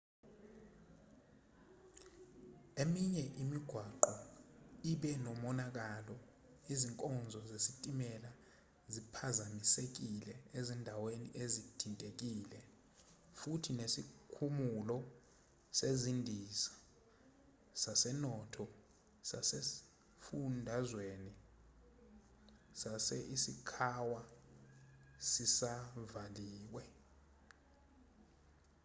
eminye imigwaqo ibe nomonakalo izinkonzo zesitimela ziphazamisekile ezindaweni ezithintekile futhi nesikhumulo sezindiza sasenoto sasesifundazweni sase-ishikawa sisavaliwe